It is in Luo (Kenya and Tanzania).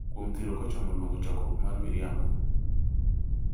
kuom thiro kochomo luongo chokruok mar miriambo.